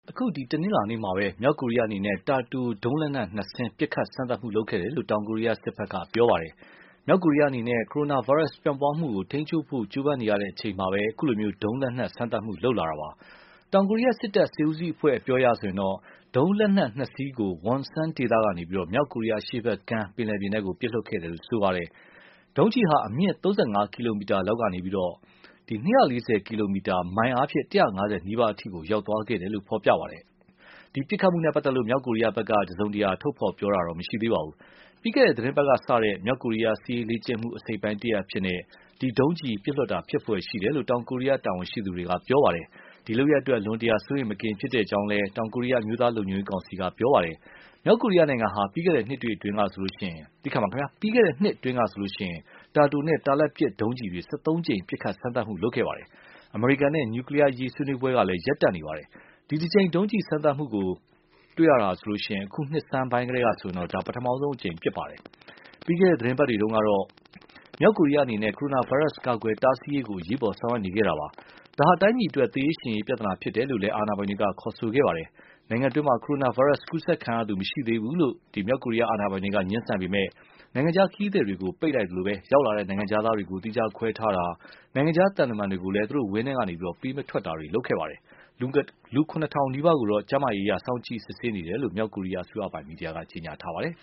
အခု တနင်္လာနေ့မှာပဲ မြောက်ကိုရီးယားအနေနဲ့ တာတိုဒုံးလက်နက်နှစ်စင်း ပစ်ခတ်စမ်းသပ်မှု လုပ်ခဲ့တယ်လို့ တောင်ကိုရီးယားစစ်ဘက်က ပြောပါတယ်။ မြောက်ကိုရီးယားအနေနဲ့ ကိုရိုနာဗိုင်းရပ်ပြန့်ပွားမှုကို ထိန်းချုပ်ဖို့ ကြိုးပမ်းနေရတဲ့အချိန်မှာပဲ အခုလို ဒုံးလက်နက်စမ်းသပ်မှု လုပ်လာတာပါ။ တောင်ကိုရီးယားစစ်တပ် စစ်ဦးစီးအဖွဲ့အပြောအရဆိုရင်တော့ ဒုံးလက်နက်နှစ်စင်းကို Wonsan ဒေသကနေ မြောက်ကိုရီးယားအရှေ့ဘက်ကမ်း ပင်လယ်ပြင်ထဲ ပစ်လွှတ်ခဲ့တယ်လို့ ဆိုပါတယ်။ ဒုံးကျည်ဟာ အမြင့် ၃၅ ကီလိုမီတာလောက်ကနေ ၂၄၀ ကီလိုမီတာ (မိုင် ၁၅၀နီးပါး) အထိ သွားခဲ့တယ်လို့လည်း ဖော်ပြပါတယ်။ ဒီ ပစ်ခတ်မှုနဲ့ ပတ်သက်လို့ မြောက်ကိုရီးယားဘက်ကတော့ တစုံတရာ ပြောဆိုတာ မရှိသေးပါဘူး။ ပြီးခဲ့တဲ့ သီတင်းပတ်ကစတဲ့ မြောက်ကိုရီးယား စစ်ရေးလေ့ကျင့်မှု အစိတ်အပိုင်း တရပ်အဖြစ်နဲ့ ဒီလို ဒုံးကျည်ပစ်လွှတ်တာဖြစ်ဖွယ် ရှိတယ်လို့ တောင်ကိုရီးယား တာဝန်ရှိသူတွေက ပြောပါတယ်။ ဒီလုပ်ရပ်အတွက် အလွန်တရာ စိုးရိမ်မကင်းဖြစ်တဲ့အကြောင်း တောင်ကိုရီးယား အမျိုးသားလုံခြုံရေးကောင်စီက ပြောပါတယ်။ မြောက်ကိုရီးယားနိုင်ငံဟာ ပြီးခဲ့တဲ့နှစ်အတွင်းမျာဆေိုရင် တာတိုနဲ့ တာလတ်ပစ် ဒုံးကျည်တွေ ၁၃ ကြိမ် ပစ်ခတ်စမ်းသပ်မှု လုပ်ခဲ့ပါတယ်။ အမေရိကန်နဲ့ နျူကလီးယားအရေး ဆွေးနွေးပွဲကလည်း ရပ်တန့်နေပါတယ်။ ဒီတကြိမ် ဒုံးကျည်စမ်းသပ်မှုကို တွေ့တာဟာဆိုရင် အခုနှစ်ဆန်းကတည်းကဆိုရင်တော့ ဒါ ပထမဆုံးအကြိမ် ဖြစ်ပါတယ်။ ပြီးခဲ့တဲ့သီတင်းပတ်တွေတုန်းကတော့ မြောက်ကိုရီးယားအနေနဲ့ ကိုရိုနာဗိုင်းရပ်စ်ကာကွယ်တားဆီးရေးကို အရေးပေါ် ဆောင်ရွက်နေခဲ့တာပါ။ ဒါဟာ တိုင်းပြည်အတွက် သေရေးရှင်ရေး ပြဿနာဖြစ်တယ်လို့လည်း အာဏာပိုင်တွေက ခေါ်ဆိုခဲ့ပါတယ်။ နိုင်ငံတွင်းမှာ ကိုရိုနာဗိုင်းရပ်စ်ကူးစက်ခံရသူ မရှိသေးဘူးလို့ ငြင်းဆန်နေပေမဲ့လို့ နိုင်ငံခြားခရီးသည်တွေကို ပိတ်လိုက်သလို ရောက်လာတဲ့ နိုင်ငံခြားသားတွေကို သီးခြားခွဲထားတာ နိုင်ငံခြားသံတမန်တွေကိုလည်း သူတို့ ဝန်းထဲကနေ ပေးမထွက်တာတွေ လုပ်ခဲ့ပါတယ်။ လူ ၇,၀၀၀ နီးပါးကိုတော့ ကျန်းမာရေးအရ စောင့်ကြည့်နေတယ်လို့ မြောက်ကိုရီးယားအစိုးရပိုင် မီဒီယာက ဖော်ပြပါတယ်။